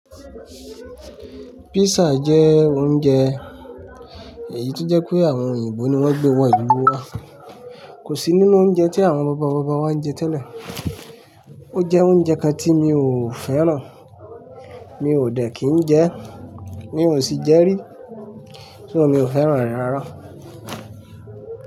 Pizza jẹ́ oúnjẹ èyí tó jẹ́ pé àwọn òyìnbó ni wọ́n gbé wọ ìlú wa. Kò sí nínú oúnjẹ tí àwọn bàbá bàbá wa ń jẹ tẹ́lẹ̀. Ó jẹ́ oúnjẹ kan tí mi ò fẹ́ràn, mi ò dẹ̀ kín ń jẹ ẹ́, mi ò sì jẹ́ rí. So mi ò fẹ́ràn rẹ̀ rárá.